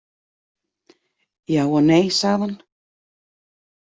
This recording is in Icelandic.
Já og nei, sagði hann.